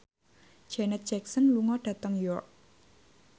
Janet Jackson lunga dhateng York